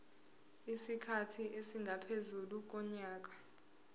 isikhathi esingaphezu konyaka